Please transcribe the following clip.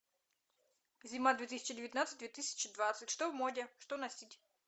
зима две тысячи девятнадцать две тысячи двадцать что в моде что носить